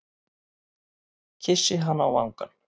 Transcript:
Kyssi hana á vangann.